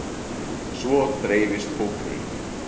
Svo dreifist hópurinn.